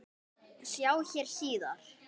Sjá hér síðar.